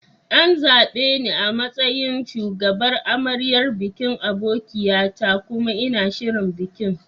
An zaɓe ni a matsayin shugabar amaryar bikin abokia ta kuma ina shirin bikin.